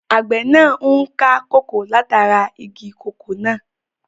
Àgbẹ̀ náà n ká kòkó látara igi kòkó náà